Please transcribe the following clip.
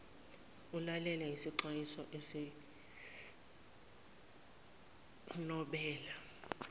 ulalele isixwayiso sikanobela